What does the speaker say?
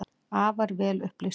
Afar vel upplýstur.